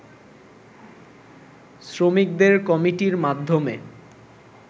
শ্রমিকদের কমিটির মাধ্যমে